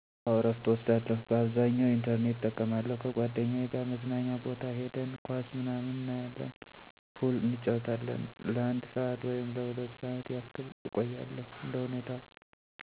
አወ እረፍት እወስዳለሁ፤ ባብዛኛዉ ኢንተርኔት እጠቀማለሁ፣ ከጓደኛየ ጋር መዝናኛ ቦታ ሂደን ኳስ ምናምን እናየለን፣ ፑል እንጫወታለን። ለአንድ ሠአት ወይም ለሁለት ሠዓት ያክል እቆያለሁ እንደሁኔታው።